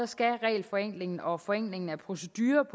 skal regelforenklingen og forenklingen af procedurer